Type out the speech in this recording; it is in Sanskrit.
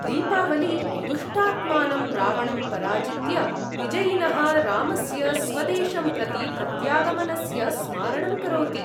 दीपावली दुष्टात्मानं रावणं पराजित्य विजयिनः रामस्य स्वदेशं प्रति प्रत्यागमनस्य स्मारणं करोति ।